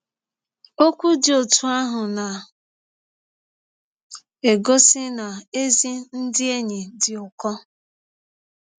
Ọkwụ dị ọtụ ahụ na - egọsi na ezi ndị enyi dị ụkọ.